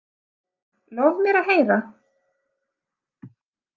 Lof mér að heyra.